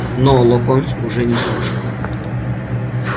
но локонс уже не слушал